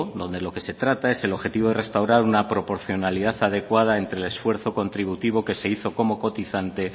donde lo que se trata es el objetivo de restaurar una proporcionalidad adecuada entre el esfuerzo contributivo que se hizo como cotizante